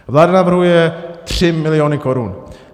Vláda navrhuje 3 miliony korun.